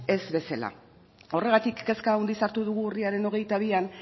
ez bezala horregatik kezka handiz hartu dugu urriaren hogeita bian